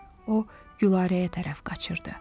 O Gülarəyə tərəf qaçırdı.